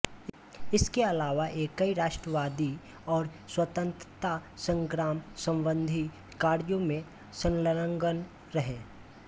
इसके अलावा ये कई राष्ट्रवादी और स्वतंत्रता संग्राम संबंधी कार्यों में संलग्न रहे